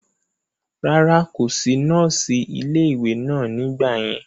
rárá, kò sí nọ́ọ̀sì ilé ìwé náà nígbà yẹn